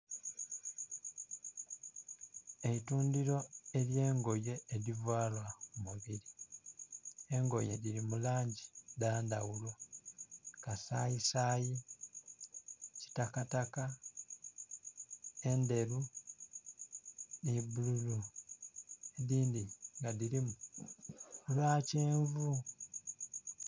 Eitundhiro elyengoye edhivalwa ku mubiri, engoye dhiri mu langi dha ndhaghulo kasayisayi, kitakataka, endheru nhi bululu edindhi nga edhirimu eya kyenvu.